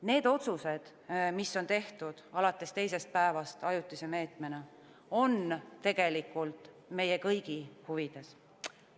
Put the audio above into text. Need otsused, mis on tehtud alates teisest päevast ajutise meetmena, on tegelikult meie kõigi huvides.